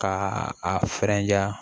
Ka a fɛrɛn ja